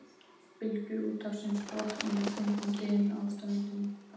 Bylgjur úthafsins brotna með þungum dyn á ströndinni.